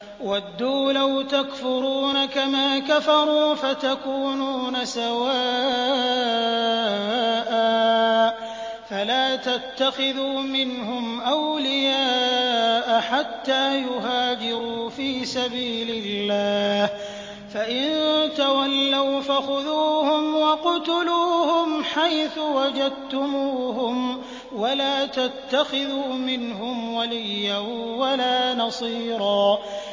وَدُّوا لَوْ تَكْفُرُونَ كَمَا كَفَرُوا فَتَكُونُونَ سَوَاءً ۖ فَلَا تَتَّخِذُوا مِنْهُمْ أَوْلِيَاءَ حَتَّىٰ يُهَاجِرُوا فِي سَبِيلِ اللَّهِ ۚ فَإِن تَوَلَّوْا فَخُذُوهُمْ وَاقْتُلُوهُمْ حَيْثُ وَجَدتُّمُوهُمْ ۖ وَلَا تَتَّخِذُوا مِنْهُمْ وَلِيًّا وَلَا نَصِيرًا